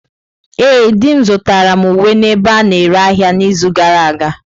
Ee, di m zụtara m uwe n'ebe a na-ere ahịa n'izu gara aga.